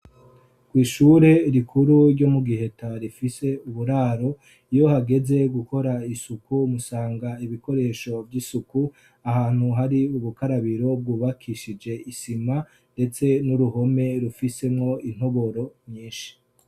Kw'ishure rikuru ryo mu Giheta rifise uburaro. Iyo hageze gukora isuku, musanga ibikoresho vy'isuku ahantu hari ubukarabiro bwubakishije isima, ndetse n'uruhome rufisemwo intoboro nyinshi.